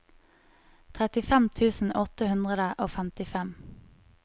trettifem tusen åtte hundre og femtifem